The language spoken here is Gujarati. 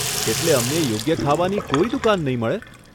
એટલે અમને યોગ્ય ખાવાની કોઈ દુકાન નહીં મળે?